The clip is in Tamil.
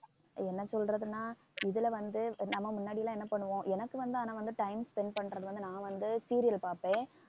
என்ன சொல்றதுன்னா இதுல வந்து நம்ம முன்னாடி எல்லாம் என்ன பண்ணுவோம் எனக்கு வந்து ஆனா வந்து time spend பண்றது வந்து நான் வந்து serial பாப்பேன்